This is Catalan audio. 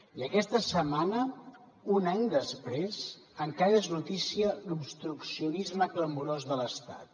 i aquesta setmana un any després encara és notícia l’obstruccionisme clamorós de l’estat